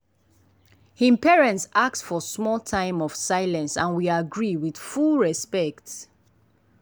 him parents ask for small time of silence and we agree with full respect.